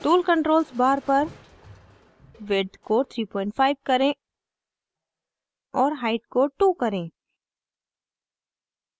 tool controls bar पर width को 35 करें और height को 2 करें